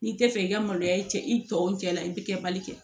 N'i tɛ fɛ i ka maloya cɛ i tɔw cɛ la i bɛ kɛ bali kɛ